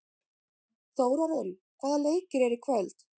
Þórarinn, hvaða leikir eru í kvöld?